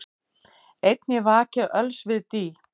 Einn ég vaki öls við dý,